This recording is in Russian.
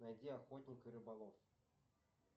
найди охотник и рыболов